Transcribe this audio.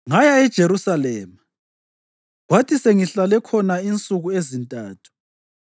Ngaya eJerusalema, kwathi sengihlale khona insuku ezintathu